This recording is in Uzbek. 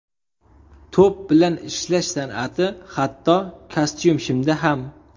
To‘p bilan ishlash san’ati, hatto kostyum-shimda ham .